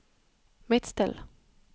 Midtstill